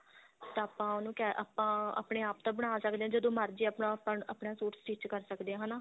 ਤਾਂ ਆਪਾਂ ਉਹਨੂੰ ਆਪਾਂ ਆਪਣੇ ਆਪ ਤਾਂ ਬਣਾ ਸਕਦੇ ਹਾਂ ਜਦੋਂ ਮਰਜੀ ਆਪਣਾ suit stich ਕਰ ਸਕਦੇ ਹਾਂ ਹਨਾ